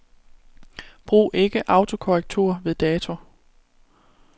Brug ikke autokorrektur ved dato.